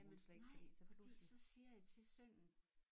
Jamen nej fordi så siger jeg til sønnen